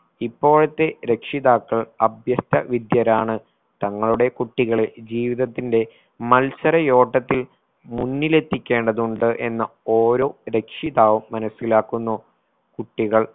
ഇപ്പോഴത്തെ രക്ഷിതാക്കൾ അഭ്യസ്ത വിദ്യരാണ് തങ്ങളുടെ കുട്ടികളെ ജീവിതത്തിന്റെ മത്സരയോട്ടത്തിൽ മുന്നിലെത്തിക്കേണ്ടതുണ്ട് എന്ന് ഓരോ രക്ഷിതാവും മനസ്സിലാക്കുന്നു. കുട്ടികൾ